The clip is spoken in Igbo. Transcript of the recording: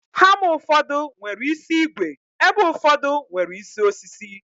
Hama ụfọdụ nwere isi ígwè, ebe ụfọdụ nwere isi osisi